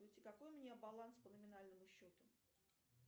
какой у меня баланс по номинальному счету